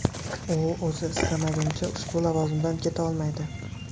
U o‘zi istamagunicha ushbu lavozimdan keta olmaydi.